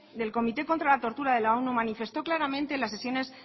del comité contra la tortura de la onu manifestó claramente la sesiones